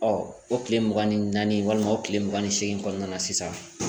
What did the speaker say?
o tile mugan ni naani walima o tile mugan ni seegin kɔnɔna na sisan